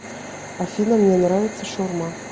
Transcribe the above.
афина мне нравится шаурма